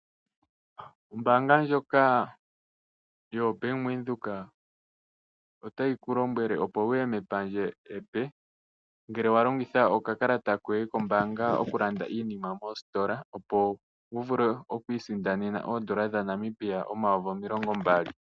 Ombaanga ndjoka yo bank Windhoek otayi ku lombwele opo wu ye mepandja epe. Ngele wa longitha okakalata koye kombaanga okulanda iinima moositola opo wu vule okwii sindanena oondola dha Namibia omayovi omilongo mbali.